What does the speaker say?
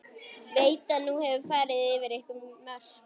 Veit að nú hefur verið farið yfir einhver mörk.